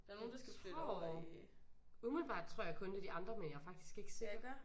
Jeg tror umiddelbart tror jeg kun det de andre men jeg er faktisk ikke sikker